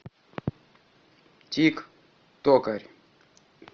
тик токарь